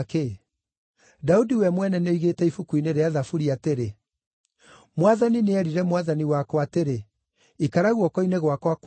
Daudi we mwene nĩoigĩte ibuku-inĩ rĩa Thaburi atĩrĩ: “ ‘Mwathani nĩerire Mwathani wakwa atĩrĩ: “Ikara guoko-inĩ gwakwa kwa ũrĩo,